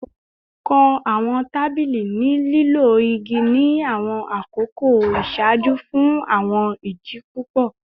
Kọ awọn tabili ni lilo igi ni awọn akoko iṣaaju fun awọn idi pupọ